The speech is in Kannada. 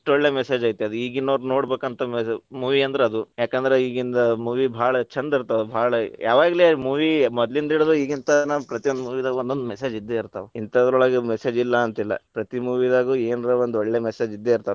ಒಳ್ಳೆ message ಐತಿ, ಅದು ಈಗಿನ್ನವ್ರ ನೋಡಬೇಕಂತ ಉತ್ತಮವಾದ movie ಅಂದ್ರ ಅದ್‌, ಯಾಕಂದ್ರ ಈಗಂದ್‌ movie ಭಾಳ ಛಂದ ಇರ್ತಾವ, ಭಾಳ ಯಾವಾಗ್ಲೆ movie ಮದ್ಲಿಂದಿಡಿದು ಈಗಿಂತನ ಪ್ರತಿಯೊಂದ movie ದಾಗೂ ಒಂದೊಂದ್ message ಇದ್ದೇ ಇರ್ತಾವ. ಇಂತಾದ್ರೊಳಗ್ message ಇಲ್ಲಾ ಅಂತಲ್ಲಾ ಪ್ರತಿ movie ದಾಗೂ ಏನರ ಒಂದ್‌ ಒಳ್ಳೇ message ಇದ್ದೇ ಇರ್ತಾವ.